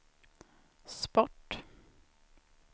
sport